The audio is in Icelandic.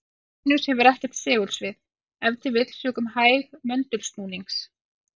Venus hefur ekkert segulsvið, ef til vill sökum hægs möndulsnúnings.